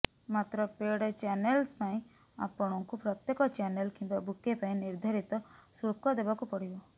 ମାତ୍ର paid channels ପାଇଁ ଆପଣଙ୍କୁ ପ୍ରତ୍ୟେକ ଚ୍ୟାନେଲ କିମ୍ବା ବୁକେ ପାଇଁ ନିର୍ଦ୍ଧାରିତ ଶୁଳ୍କ ଦେବାକୁ ପଡ଼ିବ